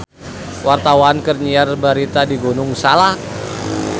Wartawan keur nyiar berita di Gunung Salak